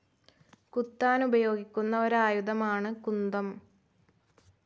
കുത്താൻ ഉപയോഗിക്കുന്ന ഒരായുധമാണ് കുന്തം.